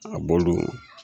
A bolo.